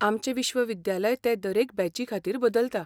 आमचें विश्वविद्यालय ते दरेक बॅचीखातीर बदलता.